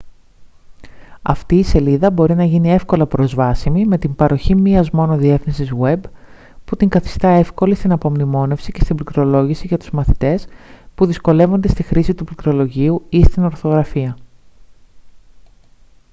αυτή η σελίδα μπορεί να γίνει εύκολα προσβάσιμη με την παροχή μίας μόνο διεύθυνσης web που την καθιστά εύκολη στην απομνημόνευση και στην πληκτρολόγηση για τους μαθητές που δυσκολεύονται στη χρήση του πληκτρολογίου ή στην ορθογραφία